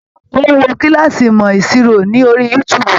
Ó ń wo kílàsì ìmọ̀ ìṣirò ní orí youtube.